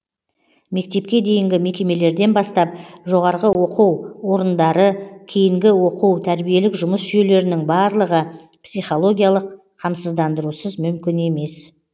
мектепке дейінгі мекемелерден бастап жоғарғы оқу орындары кейінгі оқу тәрбиелік жұмыс жүйелерінің барлығы психологиялық қамсыздандырусыз мүмкін емес